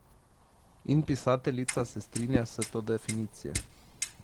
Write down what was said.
In pisateljica se strinja s to definicijo.